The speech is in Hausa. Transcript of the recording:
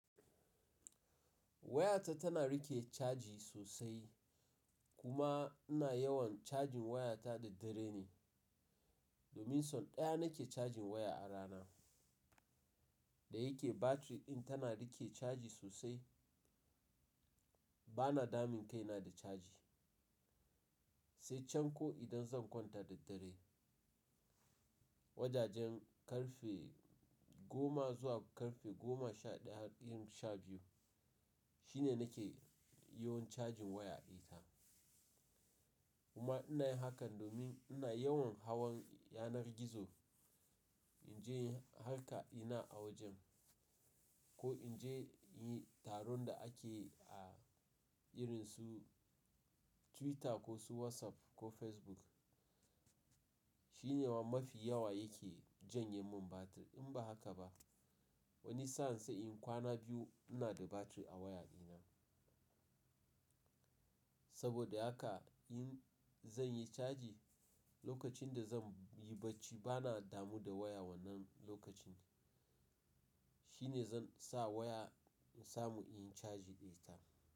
Wayata tana riƙe caji sosai. Kuma ina yawan cajin wayata da daddare ne. Domin son ɗaya na ke cajin waya a rana. Da yake batiri in tana riƙe caji sosai, bana damun kaina da caji. Sai can ko idan zan kwanta da daddare, wajajen karfe goma zuwa karfe goma sha ɗaya ko sha biyu shine na ke yawan cajin waya ita. Kuma ina yin hakan domin ina yawan hawan yanar gizo. In je har ka ina a wajen ko in je yin taron da ake a irin su Twitter ko su WhatsApp ko Facebook. Shi ne mafi yawa yake janye min batir. In ba haka ba, wani sa'an sai in kwana biyu ina da batir a waya ina. Saboda haka in zan yi caji lokacin da zan yi bacci bana damu da waya wannan lokacin. Shi ne zan sa waya in samu in yi caji ita.